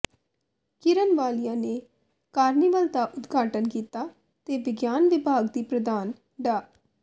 ਕਿਰਨ ਵਾਲੀਆ ਨੇ ਕਾਰਨੀਵਲ ਦਾ ਉਦਘਾਟਨ ਕੀਤਾ ਤੇ ਵਿਗਿਆਨ ਵਿਭਾਗ ਦੀ ਪ੍ਰਧਾਨ ਡਾ